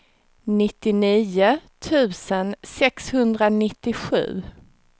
nittionio tusen sexhundranittiosju